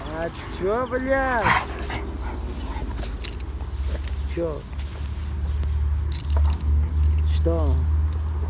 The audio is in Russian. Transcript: а что бля что что